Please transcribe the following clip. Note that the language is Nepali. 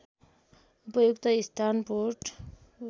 उपयुक्त स्थान पोर्ट